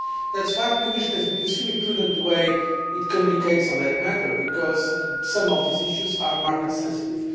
That is why the Commission has been extremely prudent in the way it communicates on that matter because some of these issues are market sensitive.